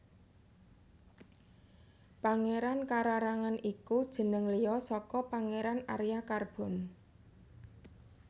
Pangeran Kararangen iku jeneng liya saka Pangéran Arya Carbon